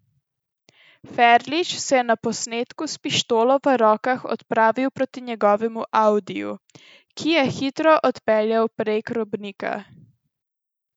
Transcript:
Ferlič se je na posnetku s pištolo v rokah odpravil proti njegovem audiju, ki je hitro odpeljal prek robnika.